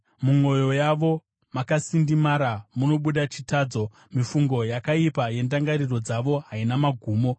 Mumwoyo yavo makasindimara munobuda chitadzo; mifungo yakaipa yendangariro dzavo haina magumo.